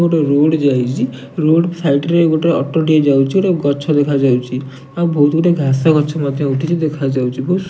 ଗୋଟେ ରୋଡ଼ ଯାଇଚି ରୋଡ଼ ସାଇଡ଼ରେ ଗୋଟେ ଅଟୋଟିଏ ଯାଉଚି ଗୋଟେ ଗଛ ଦେଖାଯାଉଛି ଆଉ ବହୁତ ଗୁଡ଼ିଏ ଘାସଗଛ ମଧ୍ୟ ଉଠିଛି ଦେଖାଯାଉଛି।